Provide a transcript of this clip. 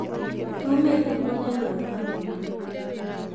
Tumĩte monanio ma ũrĩmi